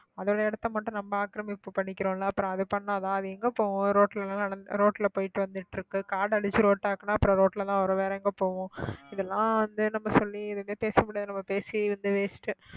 அதோட இடத்தை மட்டும் நம்ம ஆக்கிரமிப்பு பண்ணிக்கிறோம்ல அப்புறம் அது பண்ணாதா அது எங்க போகும் ரோட்ல எல்லாம் நடந்து ரோட்ல போயிட்டு வந்துட்டு இருக்கு காடை அழிச்சு road ஆக்குனா அப்புறம் ரோட்லதான் வரும் வேற எங்க போகும் இதெல்லாம் வந்து நம்ம சொல்லி எதுவுமே பேச முடியாது நம்ம பேசி வந்து waste